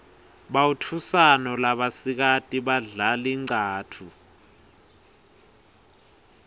bautfusano labasikati badlal inqcatfu